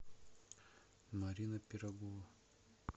марина пирогова